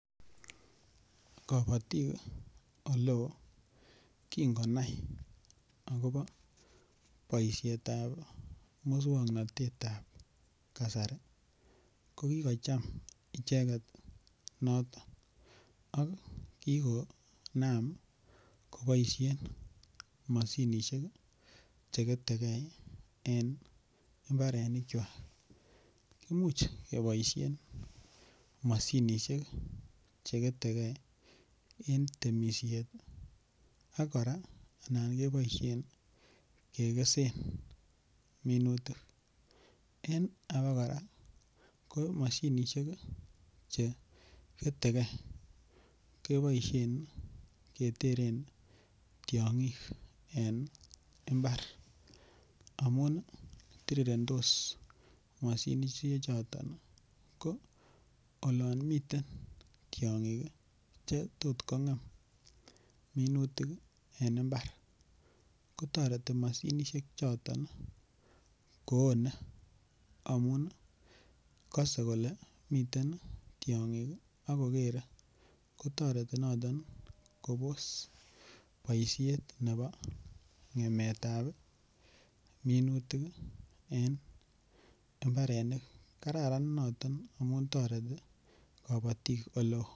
Kapatik ole oo, kingo nai akopa poishetap muswoknotet ap kasari. Ko kikocham icheget noton ako kikonam kopaishen mosinisiek che kete gen en imbar. Imuch kora kepaishen mosinisiek che Kete gen en temishet i, ak kora anan kepaishen kekesen minutik. En apa kora ko mosinisiek che kete gen kepaishen ketere tiang'ik eng' imbar amun tirirendos mosinisiechoton. Ko olan miten tiang'ik che tot agot kong'em minutik en imbar ko tareti mosinisiechoton ko one amun kase kole mitei tiang'ik ako keren noton kotareti kops paishet nepa ng'emet ap minutik en imbarenik. Kararan noton amun tareti kapatik ole oo.